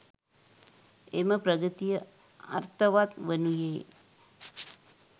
එම ප්‍රගතිය අර්ථවත් වනුයේ